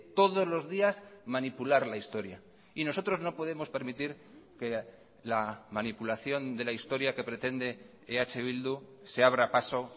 todos los días manipular la historia y nosotros no podemos permitir que la manipulación de la historia que pretende eh bildu se abra paso